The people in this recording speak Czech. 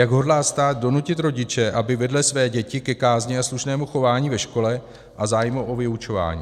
Jak hodlá stát donutit rodiče, aby vedli své děti ke kázni a slušnému chování ve škole a zájmu o vyučování?